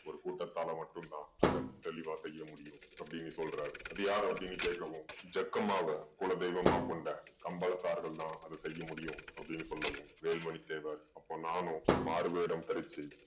ஒரு கூட்டத்தால மட்டும் தான் அதை தெளிவா செய்ய முடியும் அப்படீன்னு சொல்றாரு. அது யாரு அப்படீன்னு கேட்கவும் ஜக்கம்மாவ குல தெய்வமா கொண்ட கம்பளத்தார்கள் தான் அதை செய்ய முடியும் அப்படீன்னு சொன்னவும் வேலு மணி தேவர் அப்போ நானும் மாறு வேடம் தரிச்சு